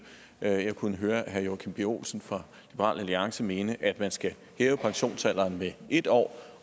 jeg kunne høre herre joachim b olsen fra liberal alliance mene at man skal hæve pensionsalderen med en år